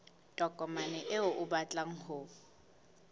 tokomane eo o batlang ho